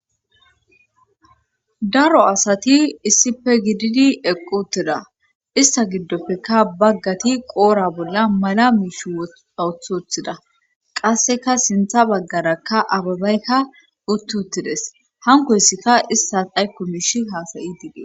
daro asati issife gididi eqqu ttida ista giddoppekka baggati qoora bolla mala miishi awuthothida qasseka sintha baggaraka ababaykka uttuttides hankoyssikka issas aykko miishi haasayi diidee